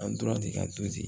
An tora ten ka to ten